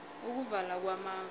ukuvala kwamafu